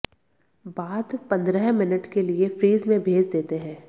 बाद पंद्रह मिनट के लिए फ्रिज में भेज देते हैं